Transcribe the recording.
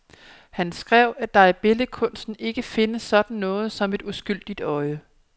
Han skrev, at der i billedkunsten ikke findes sådan noget som et uskyldigt øje.